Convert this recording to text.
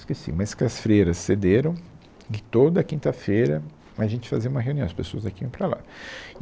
Esqueci, mas que as freiras cederam, e que toda quinta-feira a gente fazia uma reunião, as pessoas daqui iam para lá.